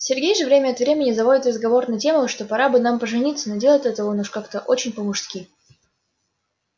сергей же время от времени заводит разговор на тему что пора бы нам пожениться но делает он это уж как-то очень по-мужски